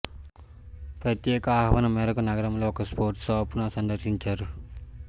ప్రత్యేక ఆహ్వానం మేరకు నగరంలోని ఒక స్పోర్ట్స్ షాపును సందర్శించారు